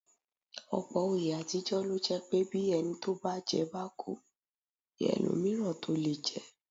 Ọ̀pọ̀ oyè àtijọ́ lo jẹ́ pé bí ẹni tó bá jẹ́ bá kú ní ẹlòmíràn tó lè jẹ́